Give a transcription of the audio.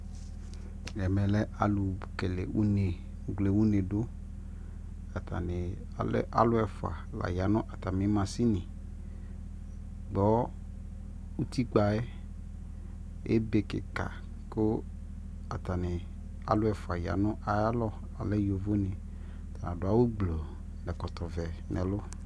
ɛmɛ lɛ alʋ kɛlɛ ʋnɛ, alʋ wlɛ ʋnɛ dʋ, atani alɛ alʋ ɛƒʋa la yanʋ atami mashini gbɔ ʋti kpaɛ, ɛbɛ kikaa kʋ atani, alʋ ɛƒʋa yanʋ ayi alɔ, alɛ yɔvɔ dɛ, atani adʋ awʋ gblɔɔ nʋ ɛkɔtɔ nʋɛlʋ